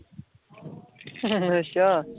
ਅੱਛਾ